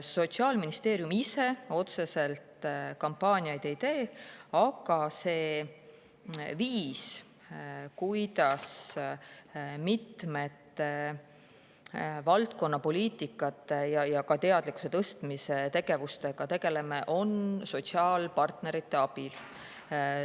Sotsiaalministeerium ise otseselt kampaaniaid ei tee, aga meie valdkonna poliitikasuundade ja ka teadlikkuse tõstmise tegevused käivad sotsiaalpartnerite abil.